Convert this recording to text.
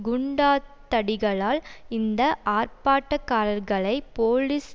குண்டாந்தடிகளால் இந்த ஆர்ப்பாட்டக்காரர்களை போலீஸ்